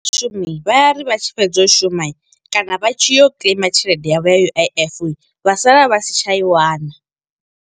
Vhashumi vha ya ri vha tshi fhedza u shuma, kana vha tshi yo kiḽeima tshelede yavho ya U_I_F, vha sala vha si tsha i wana.